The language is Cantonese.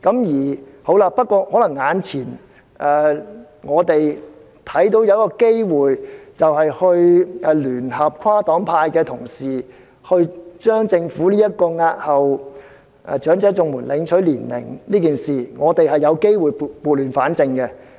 現在眼前看到有一個機會，可聯合跨黨派的同事，就政府押後長者綜援領取年齡一事，撥亂反正。